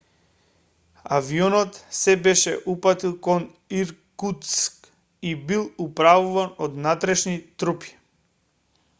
авионот се беше упатил кон иркутск и бил управуван од внатрешни трупи